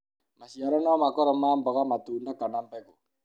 maciaro no makorũo ma mboga matunda kana mbegũ